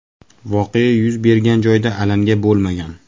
Voqea yuz bergan joyda alanga bo‘lmagan.